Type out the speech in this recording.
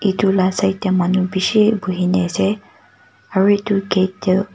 itu la side tey manu bishi buhina ase aro itu gate te--